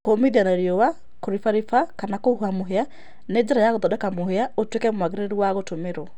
kũũmĩthĩa na rĩũa, kũrĩbarĩba kana kũhũũha mũhĩa nĩ njĩra ya gũthondeka mũhĩa ũtũĩke mwagĩrĩrũ wa gũtũmĩrũo